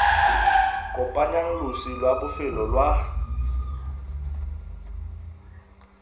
kopanyang losi lwa bofelo lwa